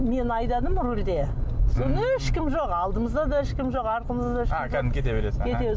мен айдадым рөлде сол ешкім жоқ алдымызда да ешкім жоқ артымызда да